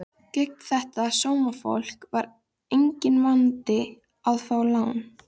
Undirskrift bréfsins var Jón Thorsteinsson Jónsson.